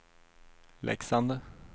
Leksand